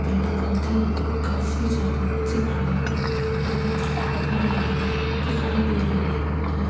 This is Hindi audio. पेड़-पौधे काफी ज्यादा दिख रहे हैं। हरियाली दिखाई दे रही है।